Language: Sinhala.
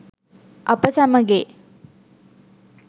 අප සැමගේ